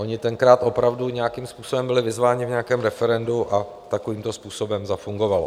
Oni tenkrát opravdu nějakým způsobem byli vyzváni v nějakém referendu a takovýmto způsobem zafungovalo.